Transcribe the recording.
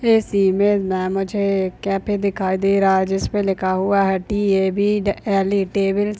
इस इमेज में मुझे कैफे दिखाई दे रहा है जिसपे लिखा हुआ है T A B L E table.